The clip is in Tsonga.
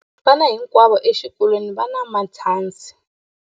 Vana hinkwavo exikolweni va na matshansi.